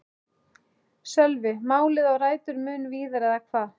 Sölvi: Málið á rætur mun víðar eða hvað?